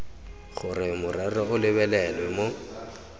gore morero o lebelelwe mo